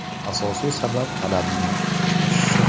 Asosiy sabab talabning oshishi.